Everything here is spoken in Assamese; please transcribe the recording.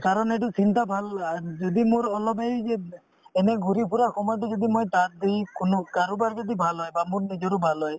কাৰণ এইটো চিন্তা ভাল আৰু যদি মোৰ অলপ এই যে এনে ঘূৰি ফুৰা সময়তো যদি মই তাত দি কোনো কাৰোবাৰ যদি ভাল হয় বা মোৰ নিজৰো ভাল হয়